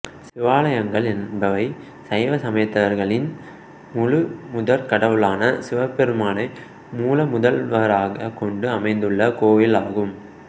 சிவாலயங்கள் என்பவை சைவ சமயத்தவர்களின் முழுமுதற் கடவுளான சிவபெருமானை மூலமுதல்வராக கொண்டு அமைந்துள்ள கோயில்களாகும்